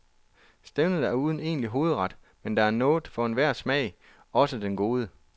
Stævnet er uden egentlig hovedret, men der er noget for enhver smag, også den gode.